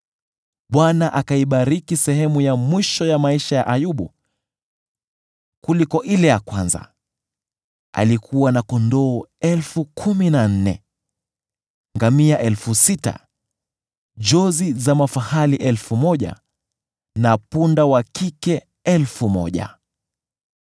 Bwana akaibariki sehemu ya mwisho ya maisha ya Ayubu kuliko ile ya kwanza. Alikuwa na kondoo elfu kumi na nne, ngamia elfu sita, jozi za mafahali elfu moja, na punda wa kike elfu moja.